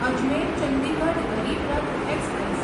Ajmer Chandigarh Garib Rath express